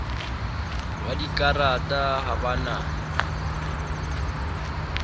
wa dikarata ha ba na